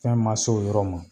Fɛn ma s'o yɔrɔ ma.